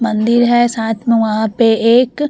मंदिर है साथ में वहां पर एक --